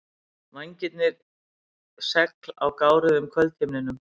Vængirnir segl á gáruðum kvöldhimninum.